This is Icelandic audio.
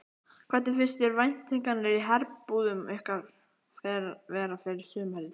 Hvernig finnst þér væntingarnar í herbúðum ykkar vera fyrir sumarið?